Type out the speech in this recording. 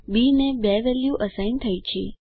બી ને 2 value assign થઈ છે